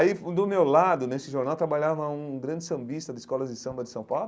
Aí do meu lado, nesse jornal, trabalhava um grande sambista de escolas de samba de São Paulo.